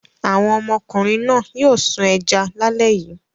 Àwọn ọmọkùnrin náà yóò sun ẹja lálẹ́ yìí.